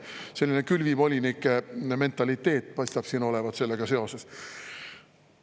Selline külvivolinike mentaliteet paistab siin olevat sellega seoses.